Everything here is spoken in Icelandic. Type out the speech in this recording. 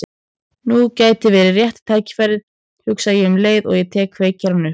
Nú gæti verið rétta tækifærið, hugsa ég um leið og ég tek kveikjarann upp.